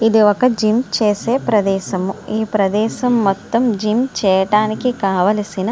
ఇది ఒక జిమ్ చేసే ప్రదేశము. ఈ ప్రదేశం మొత్తం జిమ్ చేయడానికి కావలసిన--